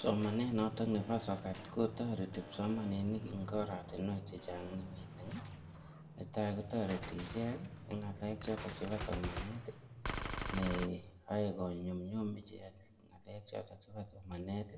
Somanet noto nebo sokat kotoreti kipsomaninik eng' oratinwek chechang' mising' netai kotoreti ichek eng' ng'alek choto chebo somanet neoei konyumyum ichek ng'alek choto chebo somanet